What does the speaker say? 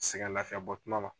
Sɛgɛnlafiɲɛbɔ tuma ma